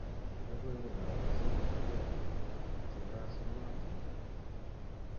Logoiwekab musoknatet chekasunatin